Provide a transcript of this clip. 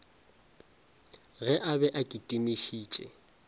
ge a be a kitimišitše